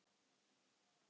Ég læt mig hafa það.